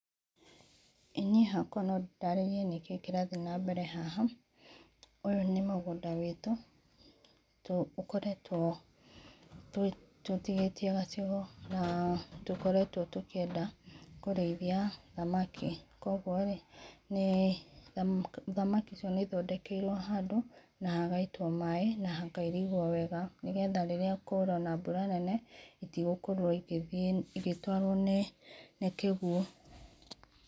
Ĩĩ niĩ hakwa no ndarĩrĩe nĩkĩ kĩrathĩe na mbere haha ũyũ nĩ mũgũnda wĩtũ, ũkoretwo tũtĩgĩtĩe gacĩgo na tũkoretwo tũkĩenda kũreĩthĩa thamaki kwogwo thamaki icio nĩ ithondekerwo na hagaĩtwo maĩ na hakairĩgwo wega nĩ getha rĩrĩa kwaura ona bũra nene itĩgũkorwo igĩtwarwo nĩ kĩgũo.